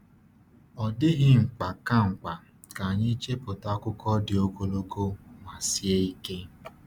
Ọ dịghị mkpa ka mkpa ka anyị chepụta akụkọ dị ogologo ma sie ike.